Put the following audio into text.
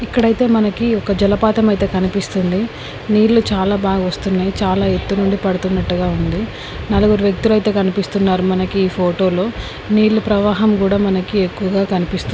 ఇక్కడ అయితే మనకి ఒక జలపాతం అయితే కనిపిస్తుంది. నీళ్లు చాలా బాగా వస్తున్నాయి. చాలా ఎత్తు నుండి పడుతున్నట్టుగా ఉంది. నలుగురు వ్యక్తులైతే కనిపిస్తున్నారు. మనకి ఈ ఫోటో లో నీళ్లు ప్రవాహం కూడా మనకి ఎక్కువగా కనిపిస్తుంది.